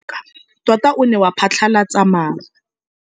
Mowa o wa go foka tota o ne wa phatlalatsa maru.